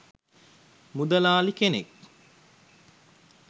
මුදලාලි කෙනෙක්